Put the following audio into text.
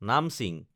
নামছিং